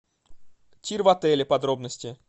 тир в отеле подробности